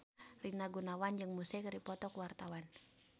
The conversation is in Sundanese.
Rina Gunawan jeung Muse keur dipoto ku wartawan